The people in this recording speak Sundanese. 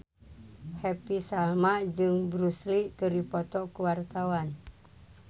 Happy Salma jeung Bruce Lee keur dipoto ku wartawan